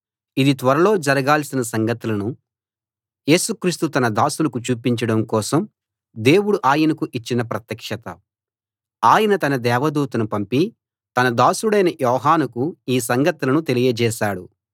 ఇది త్వరలో జరగాల్సిన సంగతులను యేసుక్రీస్తు తన దాసులకు చూపించడం కోసం దేవుడు ఆయనకు ఇచ్చిన ప్రత్యక్షత ఆయన తన దేవదూతను పంపి తన దాసుడైన యోహానుకు ఈ సంగతులను తెలియజేశాడు